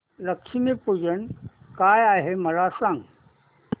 लक्ष्मी पूजन काय आहे मला सांग